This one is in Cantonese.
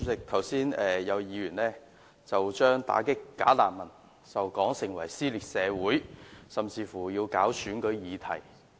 主席，有議員剛才將打擊"假難民"說成是撕裂社會，選舉議題。